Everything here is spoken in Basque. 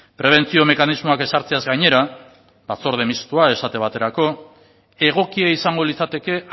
prebentzio mekanismoak ezartzeaz gainera batzorde mistoa esate baterako egokia izango litzateke